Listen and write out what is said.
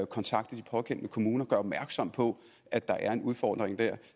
kontakte de pågældende kommuner og gøre opmærksom på at der er en udfordring der